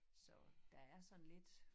Så der er sådan lidt